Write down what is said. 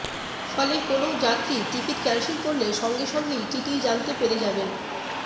ফলে কোনও যাত্রী টিকিট ক্যানসেল করলে সঙ্গে সঙ্গেই টিটিই জানতে পেরে যাবেন